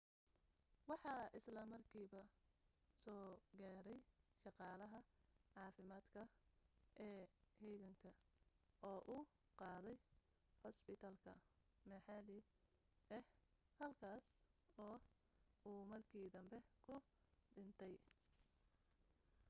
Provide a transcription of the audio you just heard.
waxa isla markiiba soo gaadhay shaqaalaha caafimaadka ee heeganka oo u qaaday cusbitaal maxalli ah halkaas oo uu markii danbe ku dhintay